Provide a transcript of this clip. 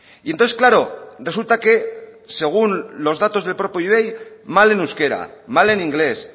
y entonces claro resulta que según los datos del propio ivei mal en euskera mal en inglés